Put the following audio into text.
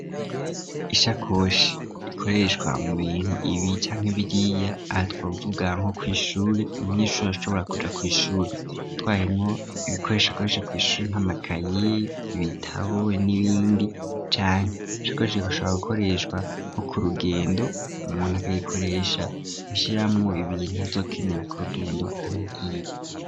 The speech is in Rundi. Ishakodhi ikoreshwa mubinti ibi canke biriya, aha twovuga nko kw'ishuri umunyeshure arashobora kuja kw'ishuri atwayemwo amakaye ,ibitab, n'ibindi canke ishakoshi irashobora gukoreshwa nko k'urugendo umuntu akayishiramwo ibintu azokenera k'urugendo aho agiye.